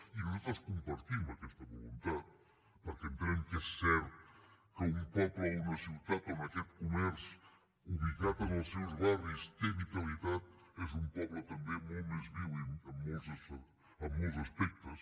i nosaltres compartim aquesta voluntat perquè entenem que és cert que un poble o una ciutat on aquest comerç ubicat en els seus barris té vitalitat és un poble també molt més viu en molts aspectes